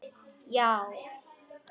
Já